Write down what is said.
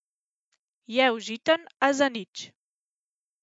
Je užiten, a zanič.